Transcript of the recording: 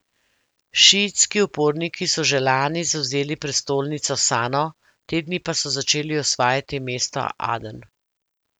Šiitski uporniki so že lani zavzeli prestolnico Sano, te dni pa so začeli osvajati mesto Aden.